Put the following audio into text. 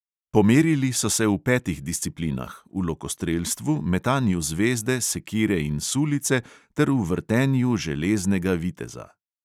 Pomerili so se v petih disciplinah – v lokostrelstvu, metanju zvezde, sekire in sulice ter v vrtenju železnega viteza.